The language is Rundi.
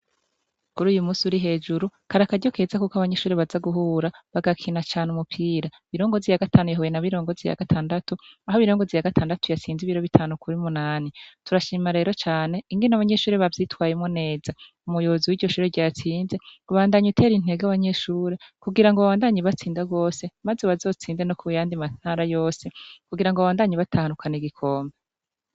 Kuri uyu musi uri hejuru karakaryo keza, kuko abanyeshure baza guhura bagakina cane umupira birongozi ya gatanu yeheuye na birongozi ya gatandatu aho birongozi ya gatandatu yatsinze ibiro bitanu kuri munani turashima rero cane ingene abanyeshure bavyitwayemo neza umuyobozu w'iryo shure ryatsinze gubandanye utere intega abanyeshure kugira ngo bawandanyi batsindag bse, maze wazotsinde no ku b yandi mantara yose kugira ngo abandanye batahanukana igikombe.